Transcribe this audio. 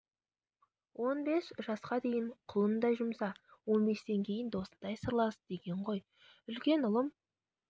он бес жасқа дейін құлыңдай жұмса он бестен кейін досыңдай сырлас деген ғой үлкен ұлым